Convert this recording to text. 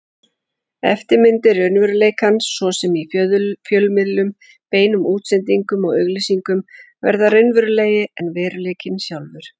Eftirmyndir raunveruleikans, svo sem í fjölmiðlum, beinum útsendingum og auglýsingum, verða raunverulegri en veruleikinn sjálfur.